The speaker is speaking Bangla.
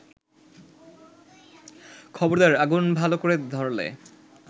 খবরদার, আগুন ভাল ক’রে ধরলে